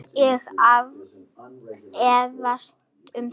Ég efast um það.